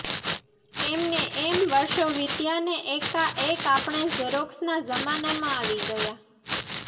એમ ને એમ વર્ષો વીત્યાં ને એકા એક આપણે ઝેરોક્ષના જમાનામાં આવી ગયા